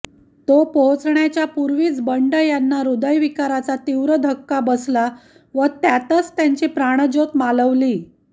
तो पोहोचण्याच्या पूर्वीच बंड यांना हृदयविकाराचा तीव्र धक्का बसला व त्यातच त्यांची प्राणजोत मालवली